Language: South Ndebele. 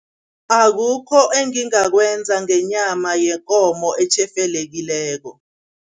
Akukho engingakwenza ngenyama yekomo etjhefelekileko.